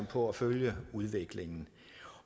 på at følge udviklingen